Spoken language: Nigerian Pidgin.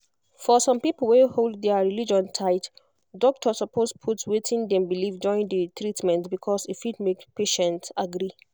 for some people wey hold their religion tight doctor suppose put wetin dem believe join the treatment because e fit make patient agree